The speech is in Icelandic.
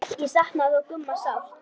Ég saknaði þó Gumma sárt.